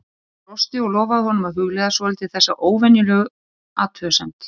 Hún brosti og lofaði honum að hugleiða svolítið þessa óvenjulegu athugasemd.